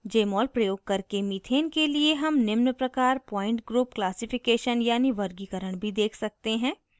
jmol प्रयोग करके methane के लिए हम निम्न प्रकार point group classification यानी वर्गीकरण भी देख सकते हैं